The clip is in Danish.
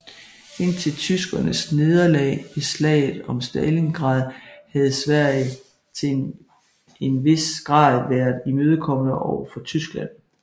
Indtil tyskernes nederlag ved slaget om Stalingrad havde Sverige til en vis grad været imødekommende over for Tyskland